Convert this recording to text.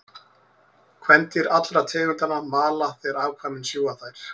Kvendýr allra tegundanna mala þegar afkvæmin sjúga þær.